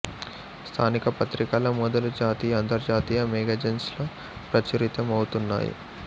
స్థానిక పత్రికల మొదలుజాతీయ అంతర్జాతీయ మేగజైన్స్ లో ప్రచురిత మవుతున్నాయి